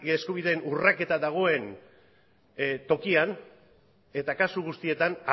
eskubideen urraketa dagoen tokian eta kasu guztietan